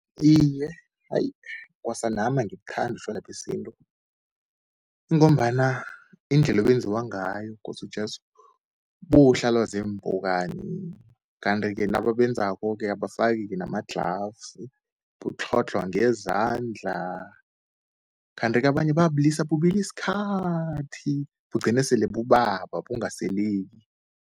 Iye, ayi kwasanami angibuthandi utjwala besintu, ingombana indlela obenziwa ngayo kosi Jesu buhlalwa ziimpukani. Kanti-ke nababenzako-ke abafaki-ke nama-gloves, butlhodlhwa ngezandla. Kanti-ke abanye bayabulisa bubile isikhathi, bugcine sele bubaba bungaseleki.